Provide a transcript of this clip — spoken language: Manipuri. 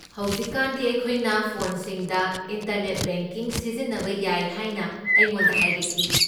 ꯍꯧꯖꯤꯛꯀꯥꯟꯗꯤ ꯑꯩꯈꯣꯏꯅ ꯐꯣꯟꯁꯤꯡꯗ ꯏꯟꯇꯔꯅꯦꯠ ꯕꯦꯡꯀꯤꯡ ꯁꯤꯖꯤꯟꯅꯕ ꯌꯥꯏ ꯍꯥꯏꯅ ꯑꯩꯉꯣꯟꯗ ꯍꯥꯏꯔꯛꯈꯤ꯫